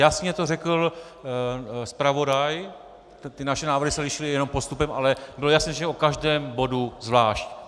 Jasně to řekl zpravodaj, ty naše návrhy se lišily jenom postupem, ale bylo jasné, že o každém bodu zvlášť.